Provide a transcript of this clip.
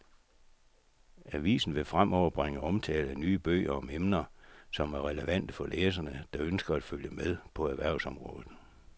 Avisen vil fremover bringe omtale af nye bøger om emner, som er relevante for læsere, der ønsker at følge med på erhvervsområdet.